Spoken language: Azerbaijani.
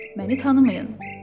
Məni tanımayın.